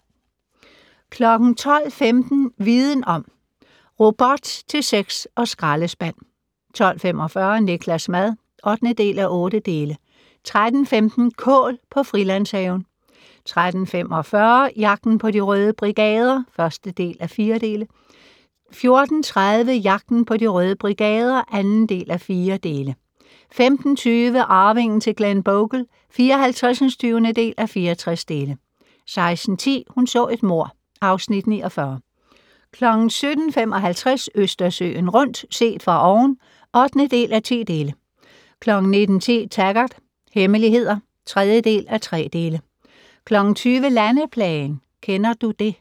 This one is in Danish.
12:15: Viden om: Robot til sex og skraldespand 12:45: Niklas' mad (8:8) 13:15: Kål på Frilandshaven 13:45: Jagten på De Røde Brigader (1:4) 14:30: Jagten på De Røde Brigader (2:4) 15:20: Arvingen til Glenbogle (54:64) 16:10: Hun så et mord (Afs. 49) 17:55: Østersøen rundt - set fra oven (8:10) 19:10: Taggart: Hemmeligheder (3:3) 20:00: Landeplagen - "Kender du det"